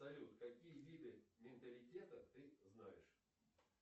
салют какие виды менталитета ты знаешь